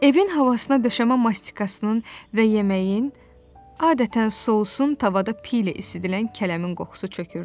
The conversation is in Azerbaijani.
Evin havasına döşəmə mastikasının və yeməyin, adətən sousun tavada piy ilə isidilən kələmin qoxusu çökürdü.